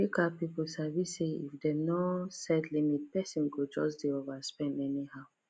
credit card people sabi say if dem no set limit person go just dey overspend anyhow